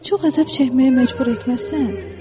Çox əzab çəkməyə məcbur etməzsən?